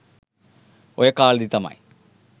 ඔය කාලෙදි තමයි